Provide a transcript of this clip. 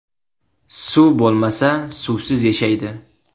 Suv bo‘lmasa, suvsiz yashaydi.